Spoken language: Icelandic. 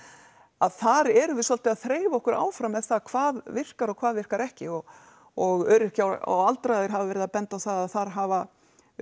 að þar erum við svolítið að þreifa okkur áfram með það hvað virkar og hvað virkar ekki og og öryrkjar og aldraðir hafa verið að benda á það að þar hafa